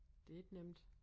Det ikke nemt